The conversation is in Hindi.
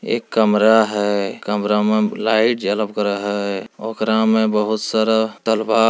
एक कमरा है कमरा मे लाइट जलब करे है ओकरा मे बहुत सारा तलवार --